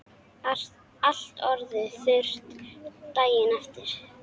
Allt orðið þurrt daginn eftir.